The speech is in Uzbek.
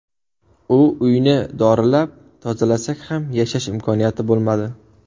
U uyni dorilab, tozalasak ham yashash imkoniyati bo‘lmadi.